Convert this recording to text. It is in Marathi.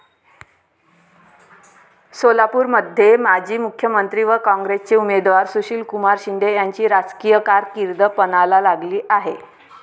सोलापूरमध्ये माजी मुख्यमंत्री व काँग्रेसचे उमेदवार सुशीलकुमार शिंदे यांची राजकीय कारकीर्द पणाला लागली आहे.